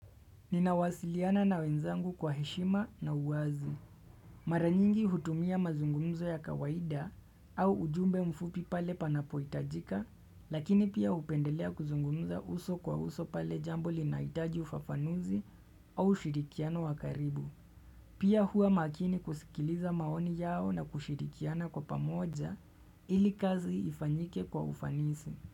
Ninawasiliana na wenzangu kwa heshima na uwazi. Maranyingi hutumia mazungumzo ya kawaida au ujumbe mfupi pale panapohitajika, lakini pia hupendelea kuzungumza uso kwa uso pale jambo linahitaji ufafanuzi au ushirikiano wakaribu. Pia huwa makini kusikiliza maoni yao na kushirikiana kwa pamoja ili kazi ifanyike kwa ufanisi.